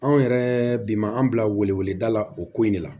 Anw yɛrɛ bi ma an bila wele weleda la o ko in de la